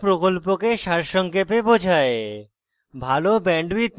এটি প্রকল্পকে সারসংক্ষেপে বোঝায়